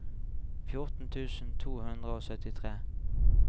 fjorten tusen to hundre og syttitre